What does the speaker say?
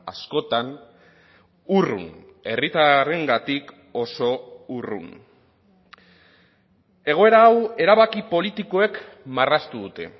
askotan urrun herritarrengatik oso urrun egoera hau erabaki politikoek marraztu dute